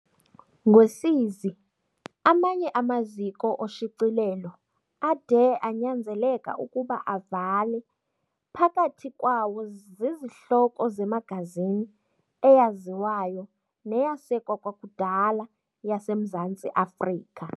Ngosizi, amanye amaziko oshicilelo ade anyanzeleka ukuba avale, phakathi kwawo zizihloko zemagazini eyaziwayo neyasekwa kwakudala yaseMzantsi Afrika.